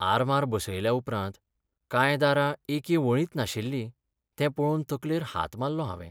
आरमार बसयल्या उपरांत कांय दारां एके वळींत नाशिल्लीं तें पळोवन तकलेर हात मारलो हांवें.